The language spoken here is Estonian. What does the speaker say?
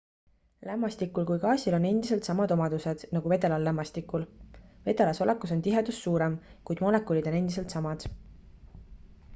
lämmastikul kui gaasil on endiselt samad omadused nagu vedelal lämmastikul vedelas olekus on tihedus suurem kuid molekulid on endiselt samad